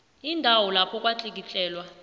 indawo lapho kwatlikitlelwa